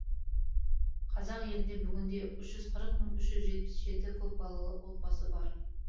қазақ елінде бүгінде үш жүз қырық мың үш жүз жетпіс жеті көп балалы отбасы бар